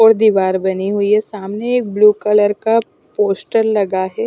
और दीवार बनी हुई है सामने एक ब्लू कलर का पोस्टर लगा हुआ है।